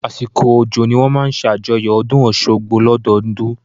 Àsìkò òjò ni wọ́n máa ń ṣe àjọyọ̀ ọdún Ọ̀ṣun-Òṣogbo lọ́dọọdún